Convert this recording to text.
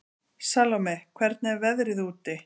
Salóme, hvernig er veðrið úti?